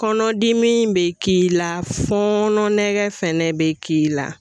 Kɔnɔdimi in bɛ k'i la, fɔnɔ nɛgɛ fɛnɛ bɛ k'i la.